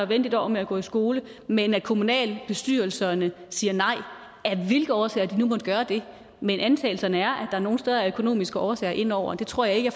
vente et år med at gå i skole men at kommunalbestyrelserne siger nej af hvilke årsager de nu måtte gøre det men antagelserne er at der nogle steder er økonomiske årsager inde over og det tror jeg ikke